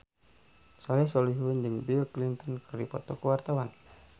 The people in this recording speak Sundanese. Soleh Solihun jeung Bill Clinton keur dipoto ku wartawan